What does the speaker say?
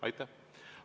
Aitäh!